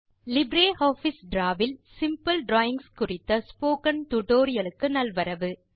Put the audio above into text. LibreOffice Draw இல் simple drawings குறித்த spoken டுடோரியலுக்கு நல்வரவு